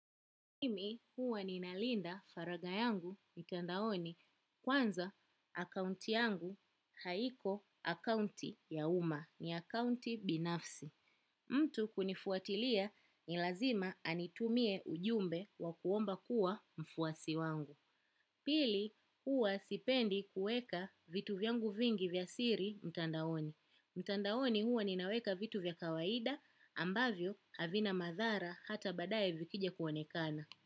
Mimi huwa ninalinda faraga yangu mtandaoni kwanza akaunti yangu haiko akaunti ya uma ni akaunti binafsi. Mtu kunifuatilia ni lazima anitumie ujumbe wa kuomba kuwa mfuasi wangu. Pili huwa sipendi kueka vitu vyangu vingi vya siri mtandaoni. Mtandaoni huwa ninaweka vitu vya kawaida ambavyo havina madhara hata badaye vikija kuonekana.